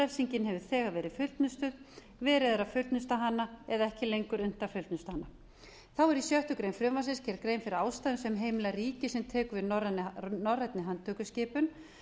refsingin hefur þegar verið fullnustuð verið er að fullnusta hana eða ekki lengur unnt að fullnusta hana þá er í sjöttu greinar frumvarpsins gerð grein fyrir ástæðum sem heimila ríki sem tekur við norrænni handtökuskipun